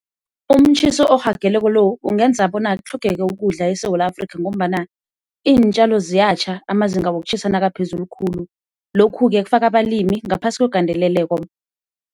Umtjhiso orhageleko lo ungenza bona kutlhogeke ukudla eSewula Afrika ngombana iintjalo ziyatjha amazinga wokutjhisa nakaphezulu khulu, lokhu-ke kufaka abalimi ngaphasi kwegandeleleko.